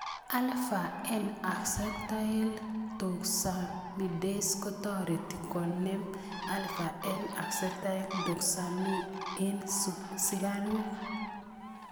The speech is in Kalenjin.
Alpha N acetylgalactosaminidase kotareti konem alpha N acetylgalactosamine eng' sikaruk